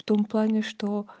в том плане что